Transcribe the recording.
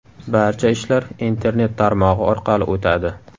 Barcha ishlar internet tarmog‘i orqali o‘tadi.